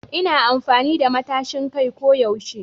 Ina amfani da matashin kai ko yaushe